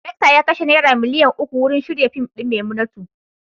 Daraktan ya kashe naira miliyan uku wurin shirya fim din "Maimunatu".